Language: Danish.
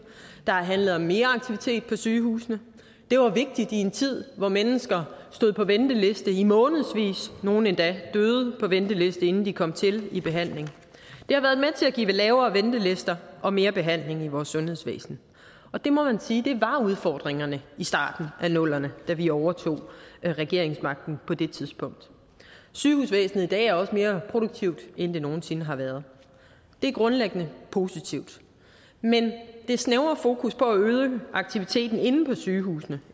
der har handlet om mere aktivitet på sygehusene det var vigtigt i en tid hvor mennesker stod på venteliste i månedsvis og nogle endda døde på venteliste inden de kom i behandling det har været med til at give lavere ventelister og mere behandling i vores sundhedsvæsen og det må man sige var udfordringerne i starten af nullerne da vi overtog regeringsmagten sygehusvæsenet i dag er også mere produktivt end det nogen sinde har været det er grundlæggende positivt men det snævre fokus er på at øge aktiviteten inde på sygehusene